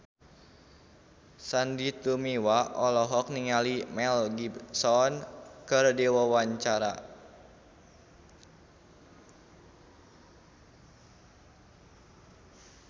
Sandy Tumiwa olohok ningali Mel Gibson keur diwawancara